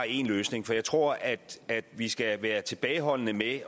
én løsning for jeg tror at vi skal være tilbageholdende med at